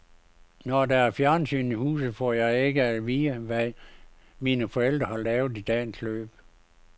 Når der er fjernsyn i huset, får jeg ikke at vide, hvad mine forældre har lavet i dagens løb.